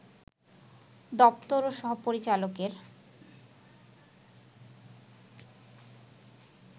দপ্তর ও সহ-পরিচালকের